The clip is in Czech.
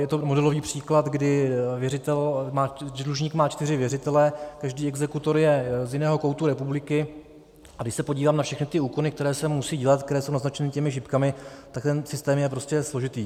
Je to modelový příklad, kdy dlužník má čtyři věřitele, každý exekutor je z jiného koutu republiky, a když se podívám na všechny ty úkony, které se musí dělat, které jsou naznačeny těmi šipkami, tak ten systém je prostě složitý.